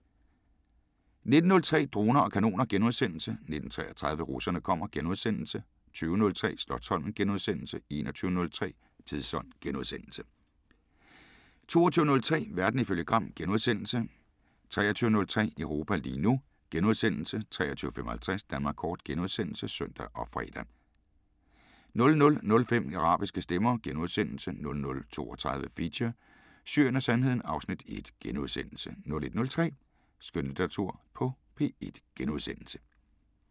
19:03: Droner og kanoner * 19:33: Russerne kommer * 20:03: Slotsholmen * 21:03: Tidsånd * 22:03: Verden ifølge Gram * 23:03: Europa lige nu * 23:55: Danmark Kort *(søn og fre) 00:05: Arabiske Stemmer * 00:32: Feature: Syrien og Sandheden (Afs. 1)* 01:03: Skønlitteratur på P1 *